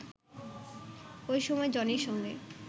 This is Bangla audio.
ওই সময় জনির সঙ্গে